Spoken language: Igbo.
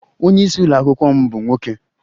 Onye isi ụlọ akwụkwọ m bụ nwoke